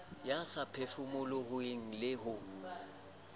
a sa phefomolohe le ho